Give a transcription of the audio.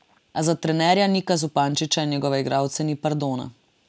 A za trenerja Nika Zupančiča in njegove igralce ni pardona.